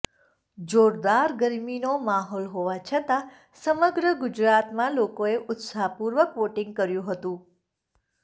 જોરદાર ગરમીનો માહોલ હોવા છતાં સમગ્ર ગુજરાતમાં લોકોએ ઉત્સાહપૂર્વક વોટિંગ કર્યું હતું